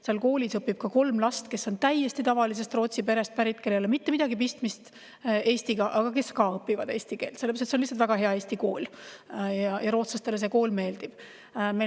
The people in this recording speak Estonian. Seal koolis õpib kolm last, kes on pärit täiesti tavalisest Rootsi perest ja kellel ei ole Eestiga mitte midagi pistmist, aga kes ka õpivad eesti keelt, sellepärast et see on lihtsalt väga hea eesti kool ja rootslastele see kool meeldib.